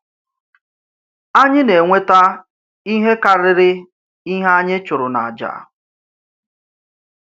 Ányị̀ nà-enwètà ihe kárịrị ihe ányị̀ chùrù n’àjà.